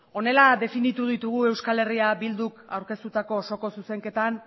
honela definitu ditugu euskal herria bilduk aurkeztutako osoko zuzenketan